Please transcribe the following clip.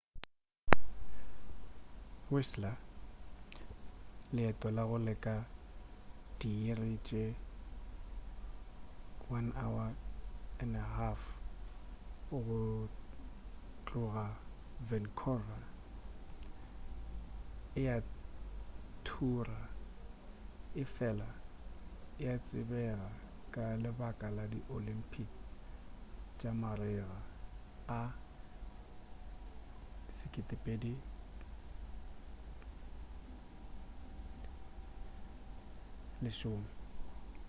whistler leeto la go leka diiri tše 1.5 go tloga vancouver e a thura efela e a tsebega ka lebaka la di oyympic tša marega a 2010